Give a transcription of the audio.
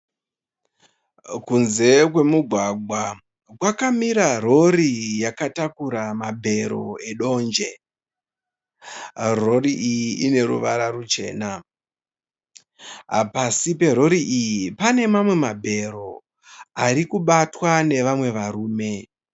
Kunze kwemugwagwa kwakamira rori yakatakura mabhero edonje. Rori iyi ine ruvara ruchena. Pasi perori iyi pane mamwe mabhero ari kubatwa nevamwe varume.